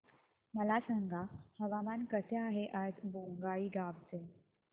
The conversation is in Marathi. मला सांगा हवामान कसे आहे आज बोंगाईगांव चे